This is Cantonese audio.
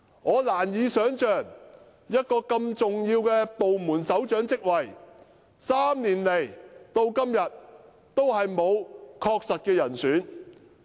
我難以想象一個如此重要的部門首長職位，竟可懸空3年，至今仍未敲定確實的人選。